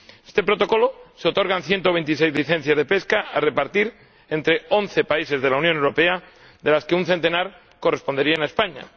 En este Protocolo se otorgan ciento veintiséis licencias de pesca, a repartir entre once países de la Unión Europea, de las que un centenar correspondería a España.